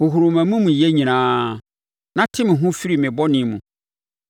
Hohoro mʼamumuyɛ nyinaa na te me ho firi me bɔne mu!